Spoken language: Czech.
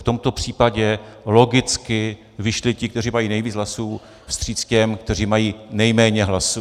V tomto případě logicky vyšli ti, kteří mají nejvíc hlasů, vstříc těm, kteří mají nejméně hlasů.